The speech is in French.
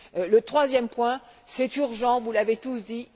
Le troisième pilier est urgent, vous l'avez tous dit